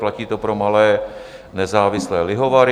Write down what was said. Platí to pro malé nezávislé lihovary.